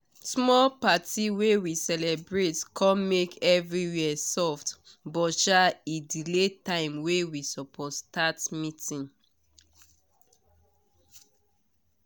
small party wey we celebrate com make everywhere soft buh sha e delay time wey we suppose start meetig